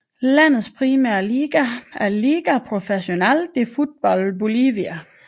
Landets primære liga er Liga Professional de Futbol Bolivia